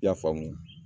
I y'a faamu